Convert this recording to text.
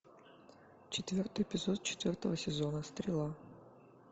четвертый эпизод четвертого сезона стрела